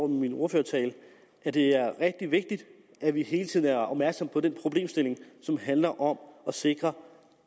min ordførertale at det er rigtig vigtigt at vi hele tiden er opmærksomme på den problemstilling som handler om at sikre